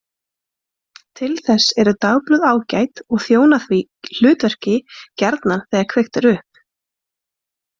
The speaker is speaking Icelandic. Til þess eru dagblöð ágæt og þjóna því hlutverki gjarnan þegar kveikt er upp.